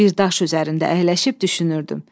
Bir daş üzərində əyləşib düşünürdüm.